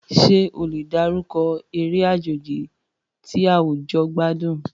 Ṣé o lè dárúkọ eré àjèjì tí àwùjọ gbádùn?